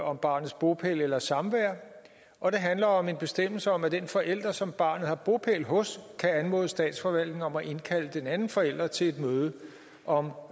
om barnets bopæl eller samvær og det handler om en bestemmelse om at den forælder som barnet har bopæl hos kan anmode statsforvaltningen om at indkalde den anden forælder til et møde om